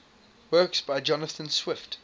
works by jonathan swift